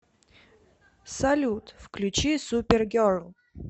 салют включи супергерл